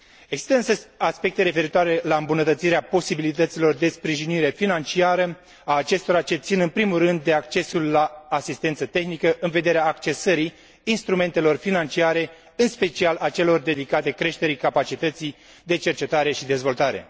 Există, însă, aspecte referitoare la îmbunătățirea posibilităților de sprijinire financiară a acestora, ce țin în primul rând de accesul la asistență tehnică în vederea accesării instrumentelor financiare, în special a celor dedicate creșterii capacității de cercetare și dezvoltare.